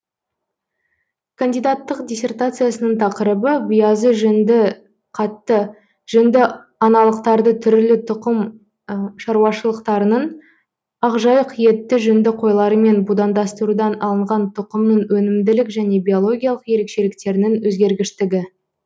кандидаттық диссертациясының тақырыбы биязы жүнді қатты жүнді аналықтарды түрлі тұқым шаруашылықтарының ақжайық етті жүнді қойларымен будандастырудан алынған тұқымның өнімділік және биологиялық ерекшеліктерінің өзгергіштігі